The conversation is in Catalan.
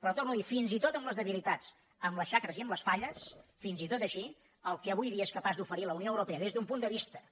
però ho torno a dir fins i tot amb les debilitats amb les xacres i amb les falles fins i tot així el que avui dia és capaç d’oferir la unió europea des d’un punt de vista